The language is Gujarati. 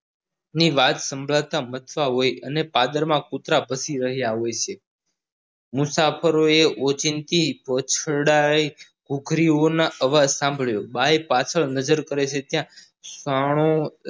તે સાંભળતા કરતા હોય છે અને પાદરમાં કુતરા ભસી રહ્યા હોય છે મુસાફરોએ ઓચિંતી વાછરડાઈ ઘુઘરીઓના અવાજ સાંભળ્યો ભાઈ પાછળ નજર કરે છે ત્યાં